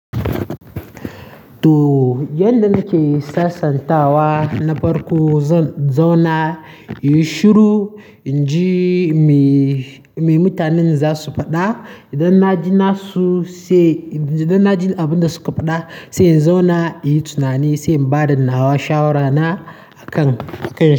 To, yadda nake sasantawa na farko zan zauna inyi shiru, in ji me mutanen za su faɗa. Idan na ji abin da suka faɗa sai in zauna in yi tunani, sai in ba da nawa shawara na.